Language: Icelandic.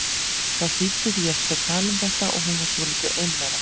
Það þýddi því ekkert að tala um þetta og hún var svolítið ein með það.